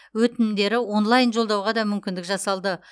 өтінімдері онлайн жолдауға да мүмкіндік жасалды